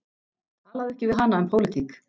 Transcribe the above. Talaðu ekki við hana um pólitík.